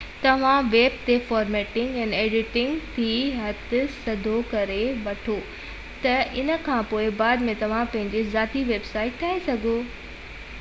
توهان ويب تي formatting ۽ editing تي هٿ سڌو ڪري وٺو ته ان کانپوءِ بعد ۾ توهان پنهنجي ذاتي ويب سائيٽ ٺاهي سگهو ٿا